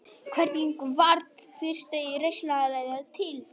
Hvernig varð fyrsta risaeðlan til?